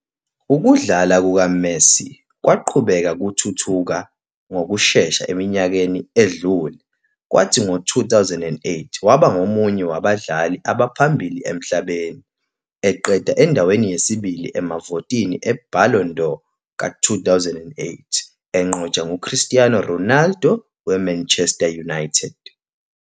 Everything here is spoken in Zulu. Ukudlala kukaMessi kwaqhubeka kuthuthuka ngokushesha eminyakeni edlule, kwathi ngo-2008 waba ngomunye wabadlali abaphambili emhlabeni, eqeda endaweni yesibili emavotini eBallon d'Or ka-2008, enqotshwa nguCristiano Ronaldo weManchester United.